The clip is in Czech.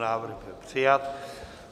Návrh byl přijat.